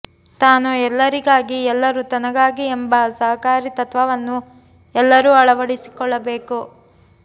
ತಾನು ಎಲ್ಲರಿಗಾಗಿ ಎಲ್ಲರೂ ತನಗಾಗಿ ಎಂಬ ಸಹಕಾರಿ ತತ್ವವನ್ನು ಎಲ್ಲರೂ ಅಳವಡಿಸಿಕೊಳ್ಳಬೇಕು